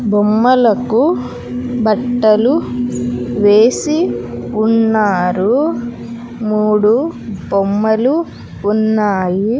బొమ్మలకు బట్టలు వేసి ఉన్నారు మూడు బొమ్మలు ఉన్నాయి.